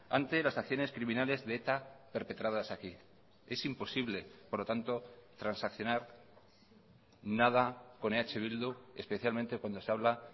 ante las acciones criminales de eta perpetradas aquí es imposible por lo tanto transaccionar nada con eh bildu especialmente cuando se habla